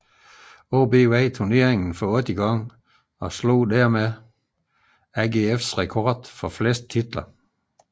AaB vandt turneringen for ottende gang og slog dermed AGFs rekord for flest titler